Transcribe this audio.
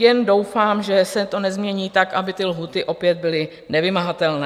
Jen doufám, že se to nezmění tak, aby ty lhůty opět byly nevymahatelné.